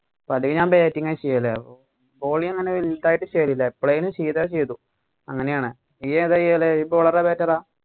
അല്ലെങ്കിൽ ഞാൻ batting ചെയ്യല് bowling അങ്ങനെ വലുതായിട് ചെയ്‌തില്ല. എപ്പോളെലും ചെയ്താ ചെയ്‌തു അങ്ങനെയാണ്. നീയേതാ ചെയ്യല്. നീ bowler ആ, batter ആ